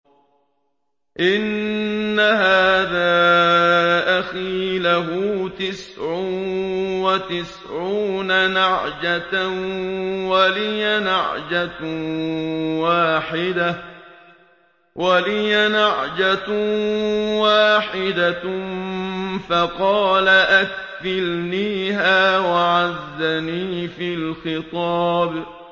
إِنَّ هَٰذَا أَخِي لَهُ تِسْعٌ وَتِسْعُونَ نَعْجَةً وَلِيَ نَعْجَةٌ وَاحِدَةٌ فَقَالَ أَكْفِلْنِيهَا وَعَزَّنِي فِي الْخِطَابِ